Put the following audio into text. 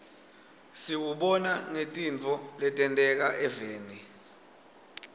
siwubona ngetintfo letenteka eveni